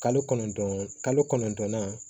Kalo kɔnɔntɔn kalo kɔnɔntɔnna